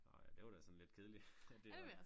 Nåh ja det var da sådan lidt kedeligt det var